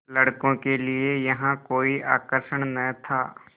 लड़कों के लिए यहाँ कोई आकर्षण न था